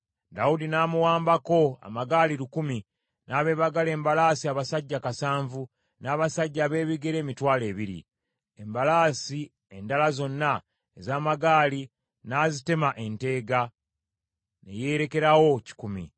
Dawudi n’amuwambako amagaali lukumi, n’abeebagala embalaasi abasajja kasanvu, n’abasajja abeebigere emitwalo ebiri. Embalaasi endala zonna ez’amagaali n’azitema enteega, ne yeerekerawo kikumi.